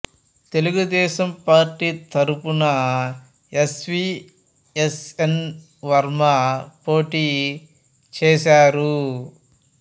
Telugu Desam party తరఫున S V S N Varma పోటీ చేసారు